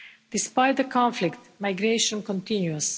Despite the conflict, migration continues.